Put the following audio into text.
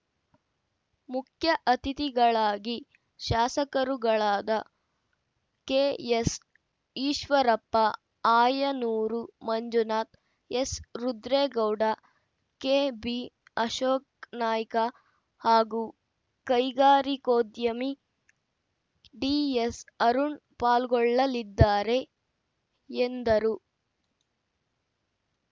ಮುಖ್ಯ ಅತಿಥಿಗಳಾಗಿ ಶಾಸಕರುಗಳಾದ K S Eshwarappa Ayanur Manjunath ಎಸ್‌ರುದ್ರೇಗೌಡ K B Ashok Naik ಹಾಗೂ ಕೈಗಾರಿಕೋದ್ಯಮಿ ಡಿ ಎಸ್‌ ಅರುಣ್‌ ಪಾಲ್ಗೊಳ್ಳಲಿದ್ದಾರೆ ಎಂದರು